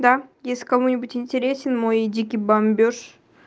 да если кому-нибудь интересен мой дикий бомбёж